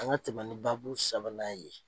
An ka tɛmɛ ni baabu sabanan ye.